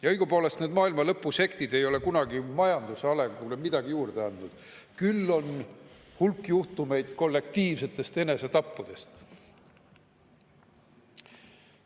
Ja õigupoolest ei ole need maailmalõpusektid majanduse arengule kunagi midagi juurde andnud, küll aga on hulk kollektiivse enesetapu juhtumeid.